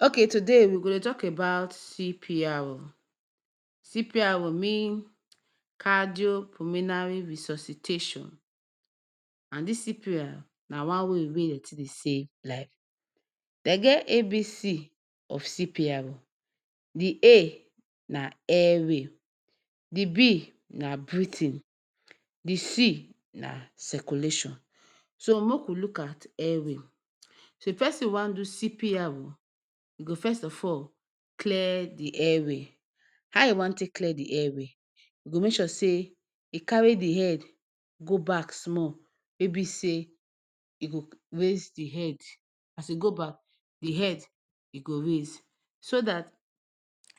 Ok today we go Dey talk about cpru, cpru meancadio puminari resuscitation, and this cpru na wan way wey den take Dey save lifeden get abc of cpru d a na airway, d b na breathing,d c na circulation so make we look at airway so if person wan do cpru,e go fest of all clear the airway ha e wan take clear d airways go make sure say e carry d head go back small wey be say e go raise the head as e go back the head e go raise so that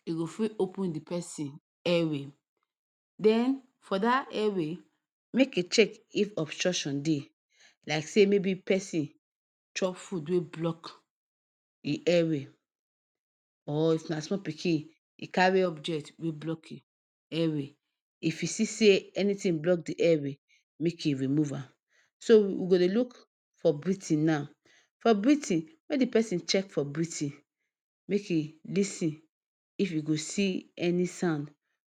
e go fit open the person airway then for that airway make e check if obstruction Dey lie say maybe person chop food wey block in airway or if na small pikin e carry objet wey block in airway if e see say anything block the airway?make e remove am, so we go Dey look for britin na, so for britin make the person check for Brit make e LIsin if w go see any sand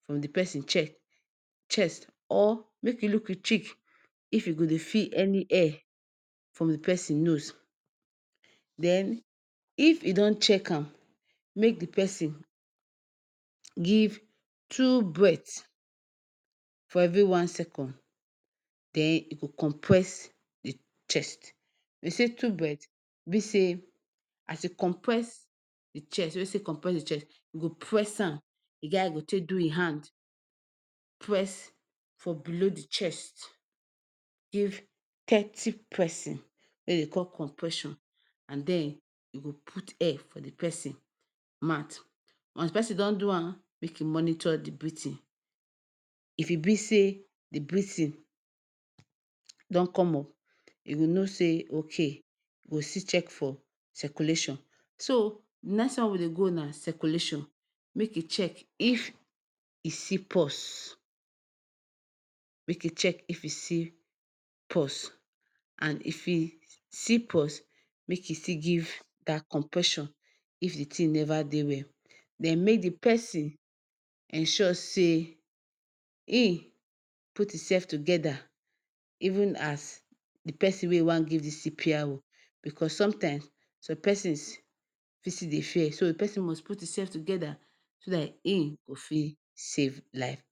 from d person Che chest or make e look in chic if e go Dey feel any air from the person nose then? If e don check am make d person give two Bret for evewi one sekon then e go compwess d chest den say two Bret be say?as e conpwess the chest wey e cmpwess the Che, e go pwess an, e ge ha e go take do in hand, pwess for below the chest, give thirty pwessin, wey Dey call conpwession, you go put air for the person mat, wans d persin don do an?make e monito d britin,??? If e be say the britin, don come up e go know say ok?go still check for ciculation, so nes wan we Dey go na ciculation, make e check if e see pos, make we check if we see pos, and if e see POs, make e still give that compwession, if d thing neva Dey well, dem make d person?ensure say in put in sef togeda, even as the person wey e wan give the CPru ,because sometimes some persons Fi still Dey fear so d person must put in sef togeda so that in fit save life